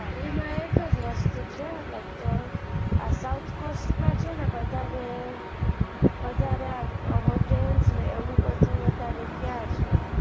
એમાં એક જ વસ્તુ છે like આ south cost માં છે ને વધારે hotel ને એવું બધું વધારે ત્યાં છે.